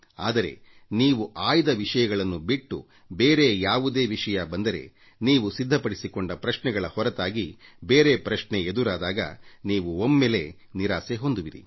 ಆದರೆ ನೀವು ಆಯ್ದ ವಿಷಯಗಳನ್ನು ಬಿಟ್ಟು ಬೇರೆ ಯಾವುದೇ ವಿಷಯ ಬಂದರೆ ನೀವು ಸಿದ್ಧಪಡಿಸಿಕೊಂಡ ಪ್ರಶ್ನೆಗಳ ಹೊರತಾಗಿ ಬೇರೆ ಪ್ರಶ್ನೆ ಎದುರಾದಾಗ ನೀವು ಒಮ್ಮೆಲೇ ನಿರಾಸೆ ಹೊಂದುವಿರಿ ಕುಸಿದು ಹೋಗುವಿರಿ